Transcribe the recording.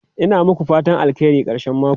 Ina muku fatan alheri karshen mako.